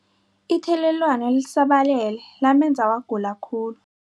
Ithelelwano lisabalele lamenza wagula khulu.